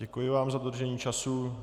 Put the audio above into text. Děkuji vám za dodržení času.